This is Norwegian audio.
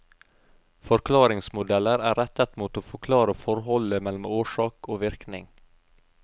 Forklaringsmodeller er rettet mot å forklare forholdet mellom årsak og virkning.